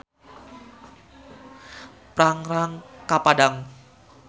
Prangrang ka Padang.